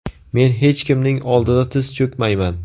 Men hech kimning oldida tiz cho‘kmayman.